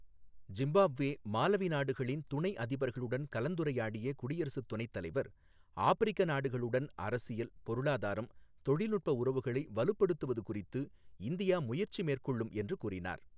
Zimbabwe, Malawi நாடுகளின் துணை அதிபர்களுடன் கலந்துரையாடிய குடியரசுத் துணைத்தலைவர் ஆப்பிரிக்க நாடுகளுடன் அரசியல், பொருளாதாரம், தொழில்நுட்ப உறவுகளை வலுப்படுத்துவது குறித்து இந்தியா முயற்சி மேற்கொள்ளும் என்று கூறினார்.